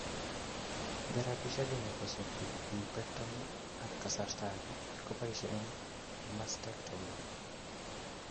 Therapishiek ini kosupi lumpectomy ak kasarta ake kepaishe eng mastectomy